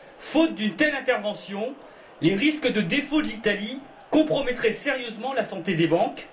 Faute d'une telle intervention, les risques de défaut de l'Italie compromettraient sérieusement la santé des banques.